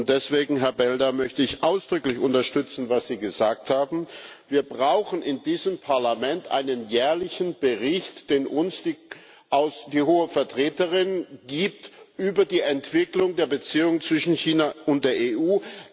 Deswegen, Herr Belder, möchte ich ausdrücklich unterstützen, was Sie gesagt haben. Wir brauchen in diesem Parlament einen jährlichen Bericht, den uns die Hohe Vertreterin gibt, über die Entwicklung der Beziehungen zwischen China und der EU.